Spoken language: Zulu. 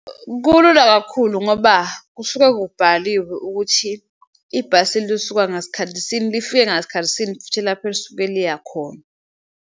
Kulula kakhulu ngoba kusuke kubhaliwe ukuthi ibhasi lisuka ngasikhathi sini, lifike ngasikhathi sini futhi lapho elisuke liya khona.